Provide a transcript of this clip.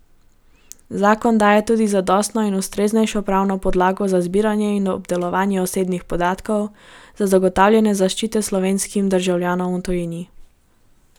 Zakon daje tudi zadostno in ustreznejšo pravno podlago za zbiranje in obdelovanje osebnih podatkov za zagotavljanje zaščite slovenskim državljanom v tujini.